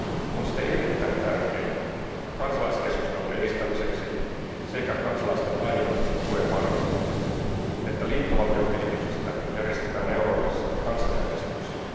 On siten erittäin tärkeää kansalaiskeskustelun edistämiseksi sekä kansalaisten aidon tuen varmistamiseksi, että liittovaltiokehityksestä järjestetään Euroopassa kansanäänestyksiä.